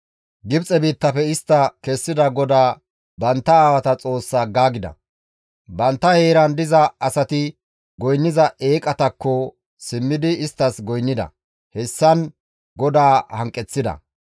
Gibxe biittafe istta kessida GODAA, bantta aawata Xoossaa aggaagida; bantta heeran diza asati goynniza eeqatakko simmidi isttas goynnida; hessan GODAA hanqeththida.